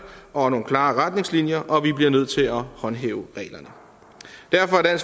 og nogle klare retningslinjer og vi bliver nødt til at håndhæve reglerne derfor er